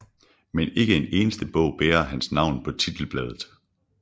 Men ikke en eneste bog bærer hans navn på titelbladet